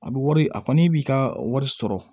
A bɛ wari a kɔni b'i ka wari sɔrɔ